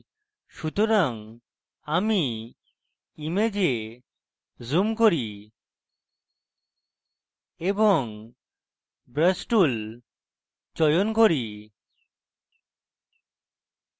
সুতরাং আমি image zoom করি এবং brush tool চয়ন করি